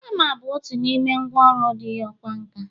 hama bụ otu n’ime ngwa ọru ndị ọkwá nkà